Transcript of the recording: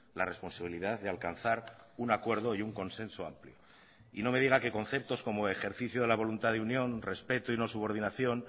la responsabilidad de alcanzar un acuerdo y un consenso amplio y no me diga que conceptos como ejercicio de la voluntad de unión respeto y no subordinación